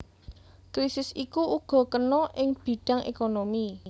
Krisis iku uga kena ing bidhang ékonomi